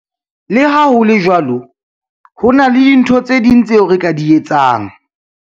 Le ha ho le jwalo, ho na le dintho tse ding tseo re ka di etsang.